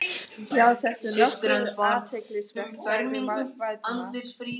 Já, þetta er nokkuð athyglisvert sagði Valdimar.